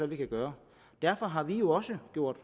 vi kan gøre og derfor har vi jo også gjort